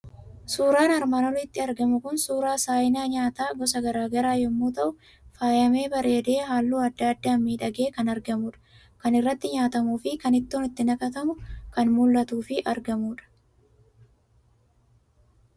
Suuraan armaan olitti argamu kun suuraa saayina nyaataa gosa garaagaraa yommuu ta'u, faayamee bareede halluu adda addaan miidhagee kan argamudha. Kan irratti nyaatamuufi kan itti Ittoo naqatantuu kan mul'atudhafi argamudha.